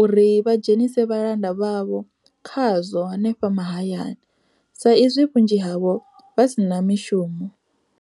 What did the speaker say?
uri vha dzhenise vhalanda vhavho kha zwo hanefha mahayani, sa izwi vhunzhi havho vha si na mishumo.